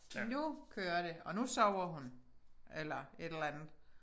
Nu kører det og nu sover hun eller et eller andet